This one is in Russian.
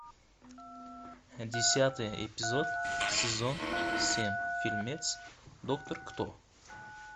десятый эпизод сезон семь фильмец доктор кто